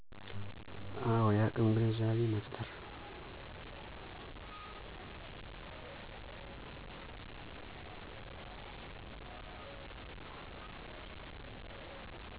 አወ። የአቅም ግንዛቤ መፋጠር